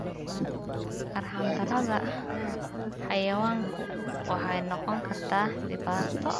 Arxan-darrada xayawaanku waxay noqon kartaa dhibaato.